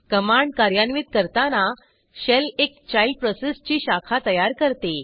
command कार्यान्वित करताना shell एक चाइल्ड प्रोसेस ची शाखा तयार करते